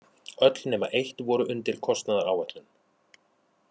Öll nema eitt voru undir kostnaðaráætlun